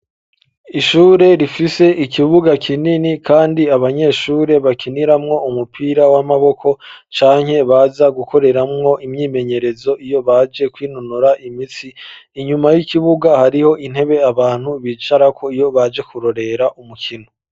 Ishure rifise ikibuga kinini, kandi abanyeshure bakiniramwo umupira w'amaboko, canke baza gukoreramwo imyimenyerezo iyo baje kwinonora imitsi; inyuma y'ikibuga hariho intebe abantu bicarako, iyo baje kurorera umukino.